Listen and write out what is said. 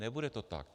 Nebude to tak.